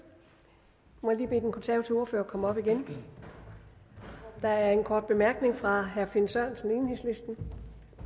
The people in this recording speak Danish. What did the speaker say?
må jeg lige bede den konservative ordfører om at komme op igen der er en kort bemærkning fra herre finn sørensen enhedslisten